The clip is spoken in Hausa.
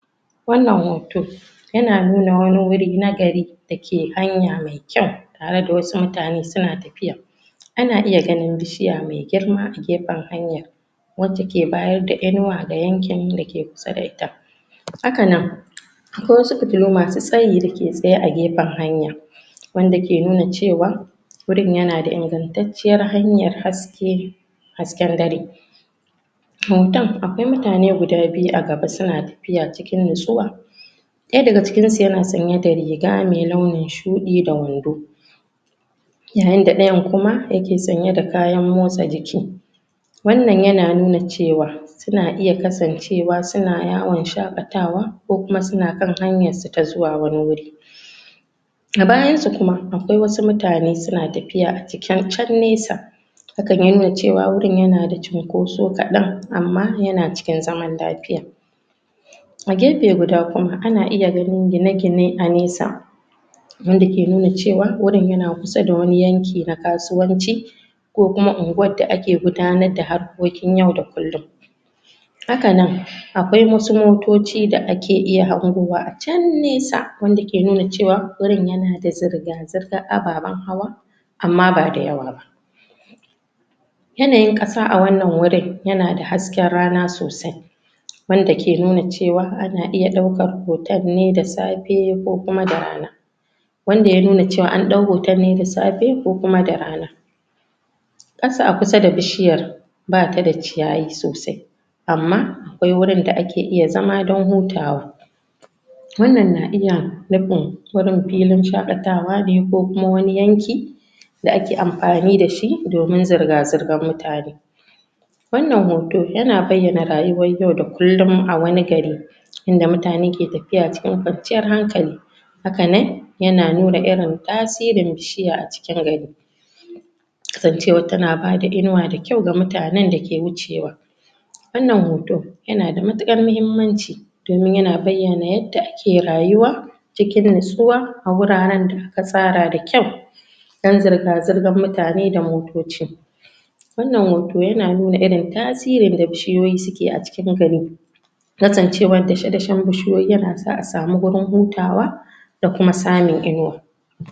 Wannan hoto yana nuna wani wuri na gari da ke hanya mai kyau tare da wasu mutane suna tafiya Ana iya ganin bishiya mai girma a gefen hanyar wacce ke bayar da inuwa ga yankin da ke kusa da ita Haka nan akwai wasu fitilu masu tsayi da ke tsaye a gefen hanya wanda ke nuna cewa wurin yana da ingantacciyar hanyar haske, hasken dare. Hoton akwai mutane guda biyu a gaba suna tafiya cikin natsuwa Ɗaya daga cikinsu yana sanye da riga mai nlaunin shuɗi da wando yayin da ɗayan kuma yake sanye da kayan motsa jiki Wannan yana nuna cewa suna iya kasancewa suna yawon shaƙatawa ko kuma suna kan hanyarsu ta zuwa wani wuri A bayansu kuma, akwai wasu mutane suna tafiya a cikin can nesa hakan ya nuna ceww wurin yana da cunkoso kaɗan amma yana cikin zaman lafiya A gefe guda kuma, ana iya gani gine-gine a nesa wanda ke nuna cewa wannan yana kusa da wani yanki na kasuwanci ko kuma unguwar da ake gudanar da harkokin yau da kullum Haka nan akwai wasu motoci da ake iya hangowa a can nesa wanda ke nuna cewa wurin yana da zirga-zirgar ababen hawa amma ba da yawa ba Yanayin ƙasa a wannan yana da hasken rana sosai wada ke nuna cewa ana iya ɗaukan hoton ne da safe ko kuma da rana wanda ya nuna cewa an ɗau hoton da safe ko kuma da rana. Ƙasa a kusa da bishiyar, ba ta da ciyayi sosai amma akwai wurin da ake iya zama don hutawa Wannan na iya nufin filin shakatawa ne ko kuma wani yanki da ake amfani da shi domin zirga-zirgar mutane Wannan hoto yana bayyana rayuwar yau da kullum a wani gari inda mutane ke tafiya cikin kwanciyar hankali Haka nan yana nuna irin tasirin bishiya a cikin gari kasancewar tana ba da inuwa da kyau ga mutanen da ke wucewa Wannan hoto yana da matuƙar muhimmanci domin yana bayyana yadda ake rayuwa cikin natsuwa a wuraren da aka tsara da kyau don zirga-zirgar mutane da motoci Wannan hoto yana nun irin tasirin da bishiyoyi suke yi a cikin gari kasancewar dashe-dashen bishiyoyi yana sa a samu wurin hutawa